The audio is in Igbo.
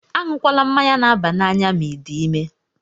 Añukwala mmanya na-aba n'anya ma I dị ime!